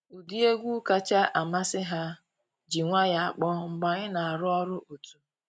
Ụdị egwu kacha amasị ha ji nwayọ akpọ mgbe anyị na arụ ọrụ otu.